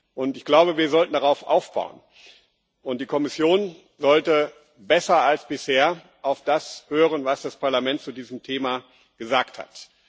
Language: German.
Und ich glaube, wir sollten darauf aufbauen, und die Kommission sollte besser als bisher auf das hören, was das Parlament zu diesem Thema gesagt hat.